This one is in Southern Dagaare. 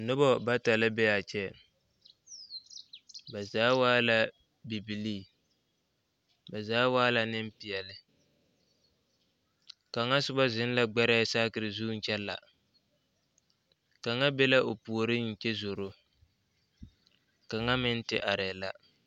Nobɔ bata la be aa kyɛ ba zaa waa la bibilii ba zaa wa la neŋ peɛle kaŋa sobɔ zeŋ la gbɛrɛɛ saakire zuŋ kyɛ la kaŋa be la o puoriŋ kyɛ zoro kaŋa meŋ te arɛɛ la.